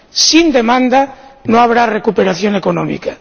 Sin demanda no habrá recuperación económica